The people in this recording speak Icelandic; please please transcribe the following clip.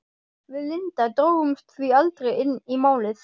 Við Linda drógumst því aldrei inn í Málið.